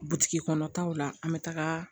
Butigi kɔnɔ taw la an bɛ taga